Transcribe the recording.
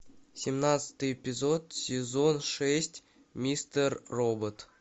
семнадцатый эпизод сезон шесть мистер робот